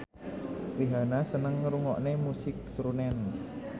Rihanna seneng ngrungokne musik srunen